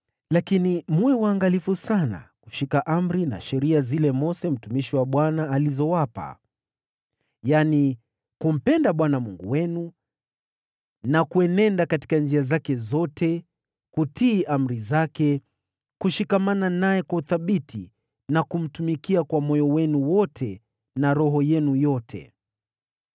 Lakini mwe waangalifu sana kushika amri na sheria zile Mose mtumishi wa Bwana alizowapa: yaani kumpenda Bwana Mungu wenu na kuenenda katika njia zake zote, kutii amri zake, kushikamana naye kwa uthabiti na kumtumikia kwa moyo wenu wote na roho yenu yote.”